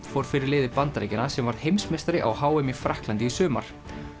fór fyrir liði Bandaríkjanna sem varð heimsmeistari á h m í Frakklandi í sumar